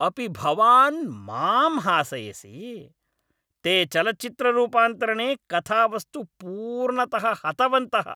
अपि भवान् मां हासयसि? ते चलच्चित्ररूपान्तरणे कथावस्तु पूर्णतः हतवन्तः।